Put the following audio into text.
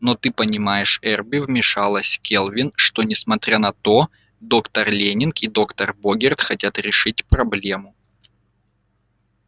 но ты понимаешь эрби вмешалась кэлвин что несмотря на то доктор лэннинг и доктор богерт хотят решить проблему